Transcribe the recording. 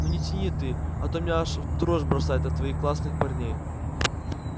ну не тяни ты а то меня аж в дрожь бросает от твоих классных парней